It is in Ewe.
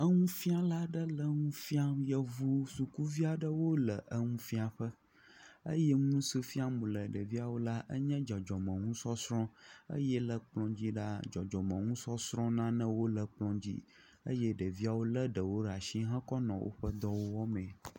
Nufiala aɖe le nu fiam yevu sukuvi aɖewo le nufiaƒe eye nusi fiam wòle ɖeviawo la nye dzɔdzɔmenusɔsrɔ eye le kplɔ dzi la dzɔdzɔmusɔsrɔ nanewo le kplɔ dzi eye ɖeviawo le ɖe ɖe asi kɔnɔ woƒe nuwo wɔm